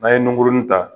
N'an ye nunkurunin ta